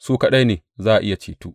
Su kaɗai za a iya ceto.